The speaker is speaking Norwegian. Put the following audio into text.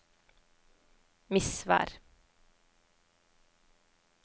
Misvær